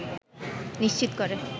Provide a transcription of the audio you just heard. নিশ্চিত করে